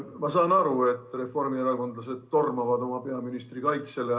Ma saan aru, et reformierakondlased tormavad oma peaministri kaitsele.